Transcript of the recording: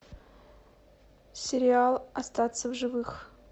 сериал остаться в живых